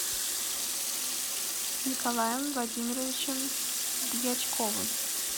николаем владимировичем дьячковым